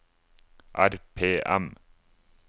RPM